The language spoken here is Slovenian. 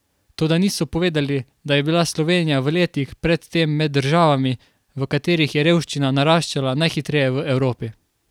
Toda niso povedali, da je bila Slovenija v letih pred tem med državami, v katerih je revščina naraščala najhitreje v Evropi.